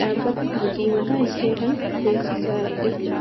dhaabbata hojii mataa ishee kan beeksisaa jirtudha.